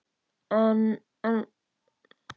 En en.